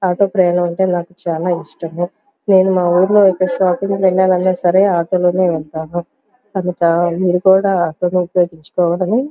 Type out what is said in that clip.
auto ప్రయాణం అంటే నాకు చాల ఇష్టము నేను మా ఊర్లో అయితే షాపింగ్ వెళ్ళాలి అన్న సరే ఆటో లోనే వెళ్తాను మీరు కూడా ఆటో ఉపయోగించుకోవటం --